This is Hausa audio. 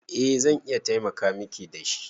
Eh zan iya taimaka Miki da shi.